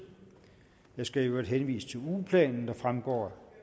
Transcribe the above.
jeg skal i øvrigt henvise til ugeplanen der også fremgår